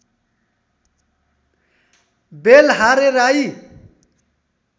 Belhare Rai